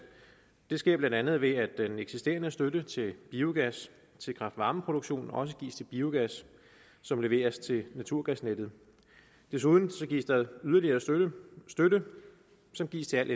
det sker blandt andet ved at den eksisterende støtte til biogas til kraft varme produktion også gives til biogas som leveres til naturgasnettet desuden gives der yderligere støtte støtte som gives til al